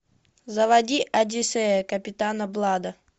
заводи одиссея капитана блада